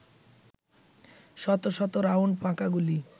শত শত রাউন্ড ফাঁকা গুলি